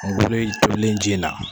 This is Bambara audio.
Kungolo in tolen ji la.